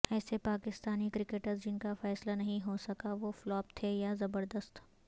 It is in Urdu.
ایسے پاکستانی کرکٹرز جن کا فیصلہ نہیں ہو سکا وہ فلاپ تھے یا زبردست